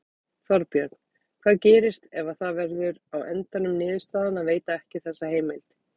Þorbjörn: Hvað gerist ef að það verður á endanum niðurstaðan að veita ekki þessa heimild?